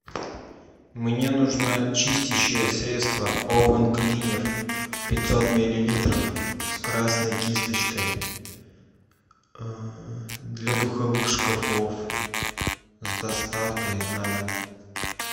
мне нужно чистящее средство овен клинер пятьсот миллилитров с красной кисточкой для духовых шкафов с доставкой на дом